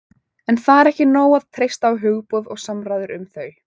en það er ekki nóg að treysta á hugboð og samræður um þau